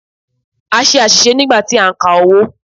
A ṣe àṣìṣe nígbà tí a ń ka owó.